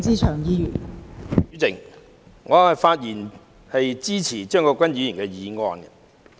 代理主席，我發言支持張國鈞議員的議案。